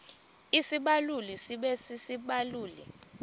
isibaluli sibe sisibaluli